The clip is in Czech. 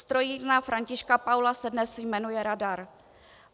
Strojírna Františka Paula se dnes jmenuje Radar.